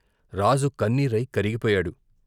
రాజు కన్నీరై కరిగిపోయాడు.